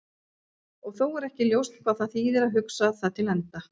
Og þó er ekki ljóst hvað það þýðir að hugsa það til enda.